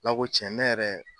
Ala ko cɛn ne yɛrɛ